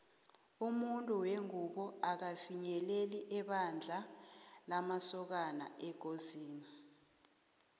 umuntu wengubo akafinyeleli ebandla lamasokana ekosini